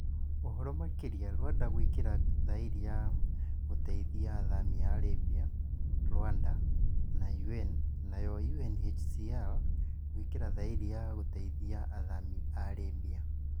ũhoro makĩria Rwanda gwikira thaĩri ya gũteithia athami a Libya, Rwanda na AU nayo UNHCR gwikira thaĩri ya gũteithia athami a Libya